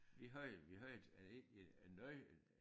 Vi havde jo vi havde jo egentlig en nøje